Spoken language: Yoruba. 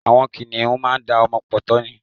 Àwọn kìnìhún máá da ọmọ pọ̀ tọ́ ni.